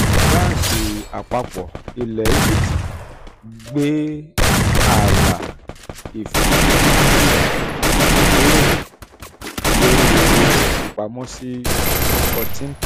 banki àpapọ̀ ilẹ̀ egypt gbé ààlà ifiṣura ifiṣura ibeere lórí owó ifipamọ sí fourteen percent